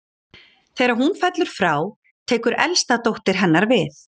Þegar hún fellur frá tekur elsta dóttir hennar við.